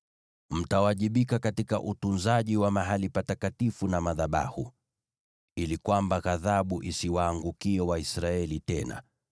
“Mtawajibika katika utunzaji wa mahali patakatifu na madhabahu, ili kwamba ghadhabu isiwaangukie Waisraeli tena.